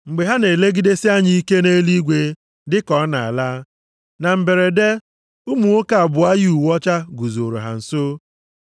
Mgbe ha na-elegidesi anya ike nʼeluigwe dịka ọ na-ala, na mberede, ụmụ nwoke abụọ yi uwe ọcha guzooro ha nso.